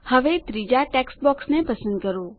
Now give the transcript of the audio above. હવે ત્રીજાં ટેક્સ્ટ બોક્સને પસંદ કરો